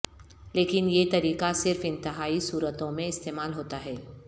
لیکن یہ طریقہ صرف انتہائی صورتوں میں استعمال ہوتا ہے